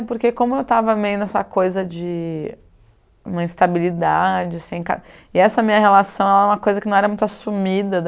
É, porque como eu tava meio nessa coisa de... uma instabilidade, sem ca... E essa minha relação era uma coisa que não era muito assumida.